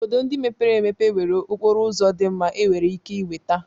Obodo ndị mepere emepe nwere okporo ụzọ dị mma enwere ike ịnweta.